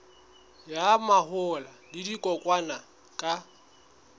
ya mahola le dikokwanyana ka